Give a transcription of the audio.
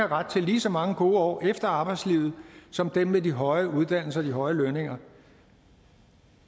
ret til lige så mange gode år efter arbejdslivet som dem med de høje uddannelser og de høje lønninger